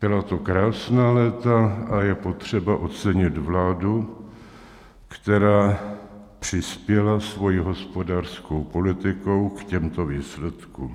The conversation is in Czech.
Byla to krásná léta a je potřeba ocenit vládu, která přispěla svojí hospodářskou politikou k těmto výsledkům.